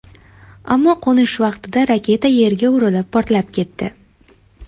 Ammo qo‘nish vaqtida raketa yerga urilib, portlab ketdi.